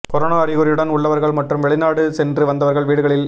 corona அறிகுறியுடன் உள்ளவர்கள் மற்றும் வெளிநாடு சென்று வந்தவர்கள் வீடுகளில்